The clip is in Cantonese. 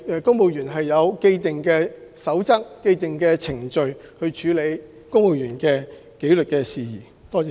公務員事務局有既定守則和程序處理公務員紀律事宜。